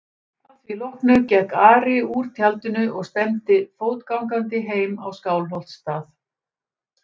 Að því loknu gekk Ari úr tjaldinu og stefndi fótgangandi heim á Skálholtsstað.